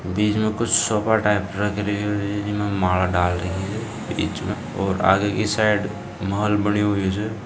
बीच में को sofa type रख रहे हैं इसमें माला डाल रहे हैं बीच में और आगे की साइड महल बने हुए हैं जो --